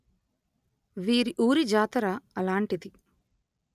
వీరి ఊరి జాతర అలాంటిది